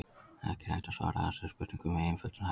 Ekki er hægt að svara þessari spurningu með einföldum hætti.